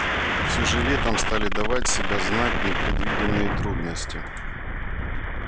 все же летом стали давать себя знать непредвиденные трудности